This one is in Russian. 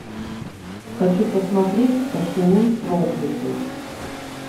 хочу посмотреть поцелуй проклятой